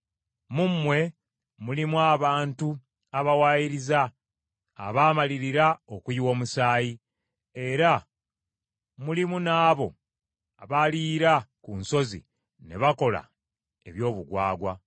Mu mmwe mulimu abantu abawaayiriza abaamalirira okuyiwa omusaayi, era mulimu n’abo abaliira ku nsozi, ne bakola eby’obugwagwa.